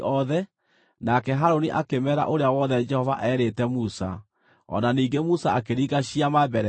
nake Harũni akĩmeera ũrĩa wothe Jehova eerĩte Musa. O na ningĩ Musa akĩringa ciama mbere yao;